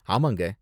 ஆமாங்க!